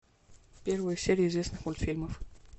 первые серии известных мультфильмов